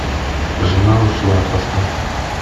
жена ушла поставь